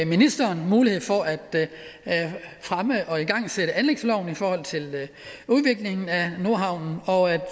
ministeren mulighed for at fremme og igangsætte anlægsloven for udviklingen af nordhavnen